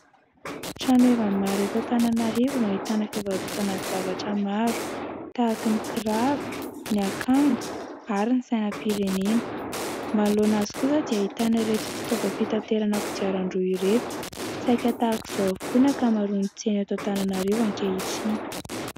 Tranoheva maro Antananarivo no ahitana fivarotana zavatra maro tahaka ny kiraro, ny akanjo ary ny sainam-pirenena ; manoloana azy kosa dia ahitana ireto fitaovam-pitaterana kodiaran-droa ireto. Saika tahak'izao avokoa ny ankamaroan'ny tsena eto Antananarivo ankehitriny.